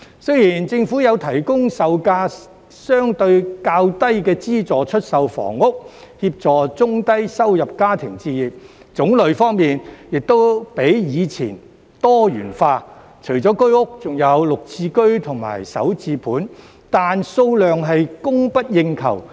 雖然政府有提供售價較低的資助出售房屋，協助中低收入家庭置業，種類方面亦較以前多元化，除了居屋，還有綠置居及首置盤，但數量供不應求。